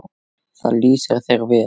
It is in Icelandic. Það lýsir þér vel.